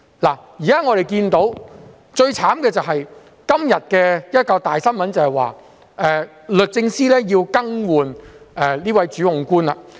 我們現時看到最悽慘的事情是，今天有一宗大新聞，就是律政司要更換這名主控官了。